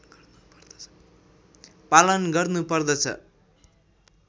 पालन गर्नु पर्दछ